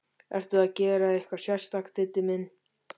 Ertu að gera eitthvað sérstakt, Diddi minn.